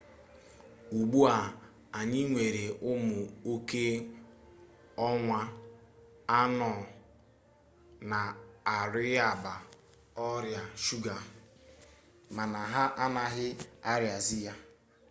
ugbu a anyị nwere ụmụ oke ọnwa anọ na-arịabu ọrịa shuga mana ha anaghị arịazi ya